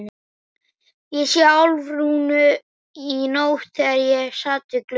Ég sá Álfrúnu í nótt þegar ég sat við gluggann.